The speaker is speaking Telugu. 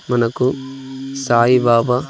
మనకు సాయిబబా.